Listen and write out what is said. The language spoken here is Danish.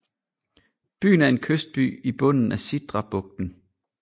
Byen er en kystby i bunden af Sidrabugten